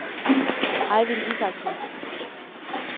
Ejvind Isaksen